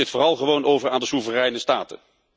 Laat dit vooral gewoon over aan de soevereine staten.